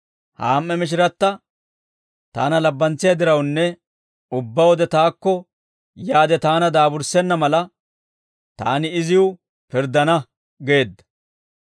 ha am"e mishiratta taana labbantsiyaa dirawunne ubbaa wode taakko yaade taana daaburssenna mala, taani iziw pirddana› geedda.